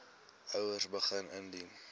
ouers begin indien